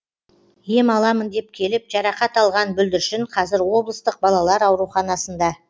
ем аламын деп келіп жарақат алған бүлдіршін қазір облыстық балалар ауруханасында